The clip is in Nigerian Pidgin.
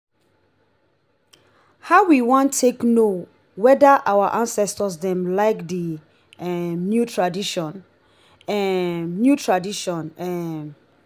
how we wan take know weda our acestors dem like di um new tradition? um new tradition? um